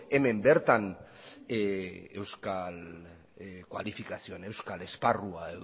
hemen bertan euskal kualifikazioan euskal esparrua